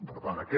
per tant aquest